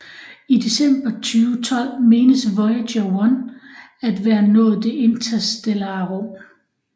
I december 2012 menes Voyager 1 at være nået det interstellare rum